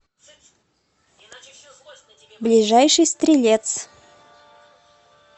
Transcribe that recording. ближайший стрелец